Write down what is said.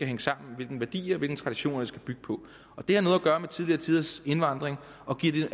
hænge sammen og hvilke værdier og hvilke traditioner det skal bygge på det har noget at gøre med tidligere tiders indvandring giver